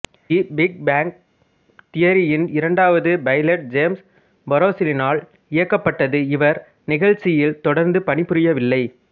தி big bang theory யின் இரண்டாவது pilot James பரோஸினால் இயக்கப்பட்டது இவர் நிகழ்ச்சியில் தொடர்ந்து பணிபுரியவில்லை